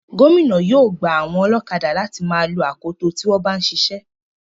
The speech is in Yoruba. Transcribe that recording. Gómìnà yóò gba àwọn ọlọ́kadà láti má a lo akoto tí wọ́n bá ń siṣẹ́.